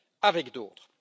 avec d'autres.